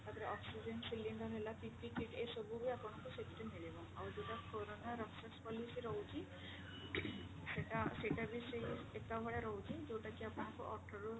ତାପରେ oxygen cylinder ହେଲା PPE kit ଏସବୁ ବି ଆପଣଙ୍କୁ ସେଥିରେ ମିଳିବ ଆଉ ଯୋଉଟା କୋରୋନା ରକ୍ଷକ policy ରହୁଛି ସେଟା ସେଟା ବି ସେଇ ଏକା ଭଳିଆ ରହୁଛି ଯୋଉଟା କି ଆପଣଙ୍କୁ ଅଠରରୁ